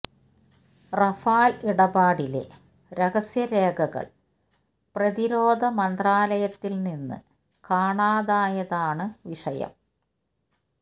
Rafale ഇടപാടിലെ രഹസ്യ രേഖകൾ പ്രതിരോധ മന്ത്രലായത്തിൽ നിന്ന് കാണാതായതാണ് വിഷയം